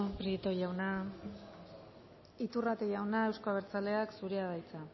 prieto jauna iturrate jauna euzko abertzaleak zurea da hitza